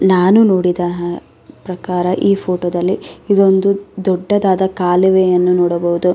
ನಾನು ನೋಡಿದ ಪ್ರಕಾರ ಈ ಫೋಟೋ ದಲ್ಲಿ ಇದೊಂದು ದೊಡ್ಡದಾದ ಕಾಲುವೆಯನ್ನು ನೋಡಬಹುದು.